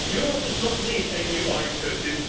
work together. Europe does not need a new